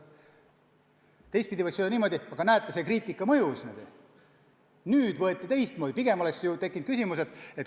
Teistpidi võiks öelda niimoodi, et näete, kriitika mõjus, nüüd tehti teistsugune lahend.